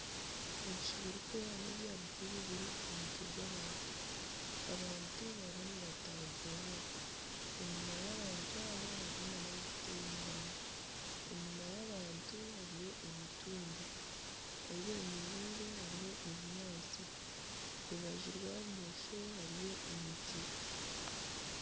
Ebicu birikwera nebya bururu biri aha mutwe y'abantu, abantu barimu nibatagurura enyuma y'abantu aba hariyo nabakuteera engoma, enyuma y'abantu hariyo emitumba ahi bemereire hariho ebinyaatsi aha rubaju rwa bumosho hariho emiti.